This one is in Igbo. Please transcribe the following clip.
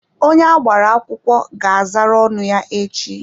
Onye agbara akwụkwọ ga azara ọnụ ya echi.